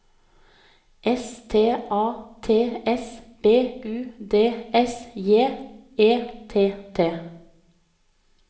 S T A T S B U D S J E T T